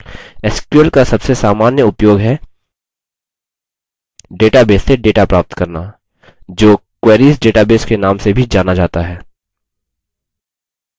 sql का सबसे सामान्य उपयोग है database से data प्राप्त करना जो querying database के नाम से भी जाना data है